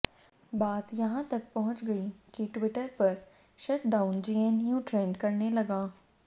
बात यहां तक पहुंच गई कि ट्विटर पर शट डाउन जेएनयू ट्रेंड करने लगा